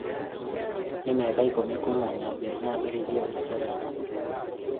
Nĩ mĩaka ikũmi kuuma ndabĩrĩirie biacara ĩno